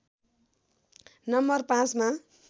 नं ५ मा